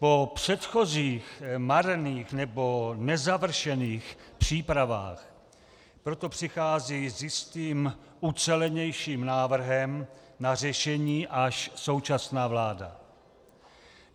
Po předchozích marných nebo nezavršených přípravách proto přichází s jistým ucelenějším návrhem na řešení až současná vláda.